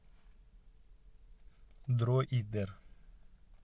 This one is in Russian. дроидер